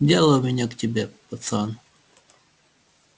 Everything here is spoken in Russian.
дело у меня к тебе пацан